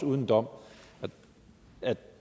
uden dom og